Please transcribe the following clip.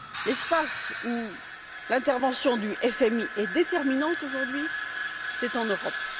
L'espace où l'intervention du FMI est déterminante aujourd'hui est l'Europe.